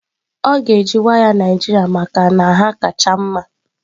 Ọ ga-eji waya Naijiria maka na ha kacha mma